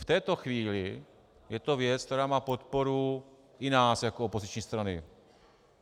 V této chvíli je to věc, která má podporu i nás jako opoziční strany.